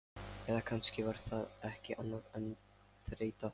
Eða kannski var það ekki annað en þreyta.